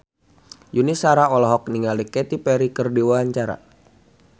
Yuni Shara olohok ningali Katy Perry keur diwawancara